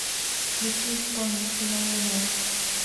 включи исполнителя луна